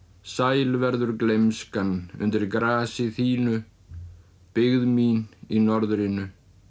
sæl verður gleymskan undir grasi þínu byggð mín í norðrinu